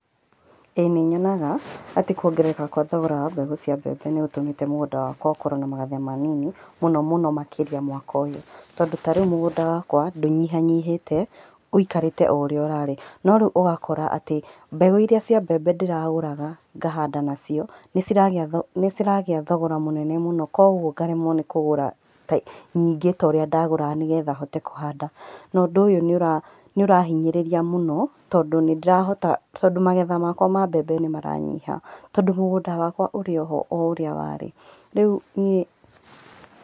Ĩĩ nĩnyonaga atĩ kũongerereka gwa thogora wa mbegũ cia mbembe nĩgũtũmĩte mũgũnda wakwa ũkorwo na magetha manini, mũno mũno makĩria mwaka ũyũ, tondũ ta rĩu mũgũnda wakwa ndũnyihanyihĩte, wikarĩte oũrĩa ũrarĩ, norĩu ũgakora atĩ mbegũ iria cia mbembe ndĩragũraga ngahanda nacio, nĩciragĩa thogora mũnene mũno, koguo ngaremwo nĩkũgũra nyingĩ ta ũrĩa ndagũraga nĩguo hote kũhanda, na ũndũ ũyũ nĩũrahinyĩrĩria mũno tondũ nĩndĩrahota, tondũ magetha makwa ma mbembe nĩmaranyiha, tondũ mũgũnda wakwa ũrĩoho oũrĩa warĩ, rĩu niĩ.